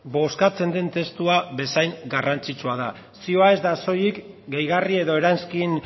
bozkatzen den testua bezain garrantzitsua da zioa ez da soilik gehigarri edo eranskin